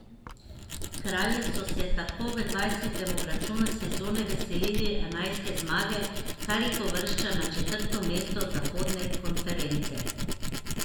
Kralji so se tako v dvajsetem obračunu sezone veselili enajste zmage, kar jih uvršča na četrto mesto zahodne konference.